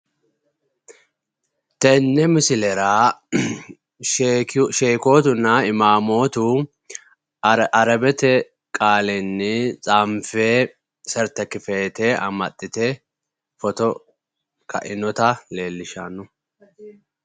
Tenne misilera sheekootunna imaamootu arabete qaalinni xaanfe certefikkeete amaxxite footo ka'inotaa leellishanno.